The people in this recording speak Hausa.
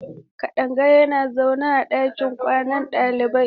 Kadanga yana zaune a ɗakin kwanan dalibai.